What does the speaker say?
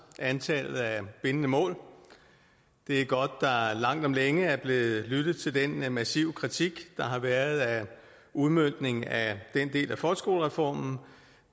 antallet af bindende mål det er godt at der langt om længe er blevet lyttet til den massive kritik der har været af udmøntningen af den del af folkeskolereformen